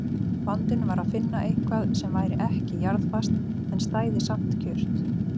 Vandinn var að finna eitthvað sem væri ekki jarðfast en stæði samt kjurt.